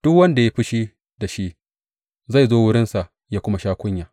Duk wanda ya yi fushi da shi zai zo wurinsa ya kuma sha kunya.